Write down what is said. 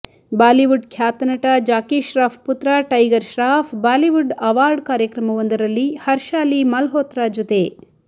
Bollywood ಖ್ಯಾತ ನಟ ಜಾಕೀಶ್ರಾಫ್ ಪುತ್ರ ಟೈಗರ್ ಶ್ರಾಫ್ ಬಾಲಿವುಡ್ ಆವಾರ್ಡ್ ಕಾರ್ಯಕ್ರಮವೊಂದರಲ್ಲಿ ಹರ್ಷಾಲಿ ಮಲ್ಹೋತ್ರಾ ಜೊತೆ